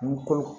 Ni kolo